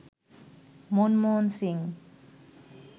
Manmohan Singh